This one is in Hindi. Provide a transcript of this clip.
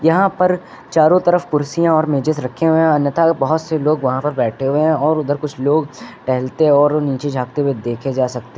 यहां पर चारों तरफ कुर्सियां और मेजेज रखे हुए है अन्यथा बहोत से लोग वहां पर बैठे हुए हैं और उधर कुछ लोग टहलते हैं और नीचे जाते हुए देखे जा सकते--